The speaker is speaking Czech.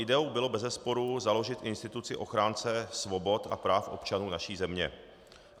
Ideou bylo bezesporu založit instituci ochránce svobod a práv občanů naší země.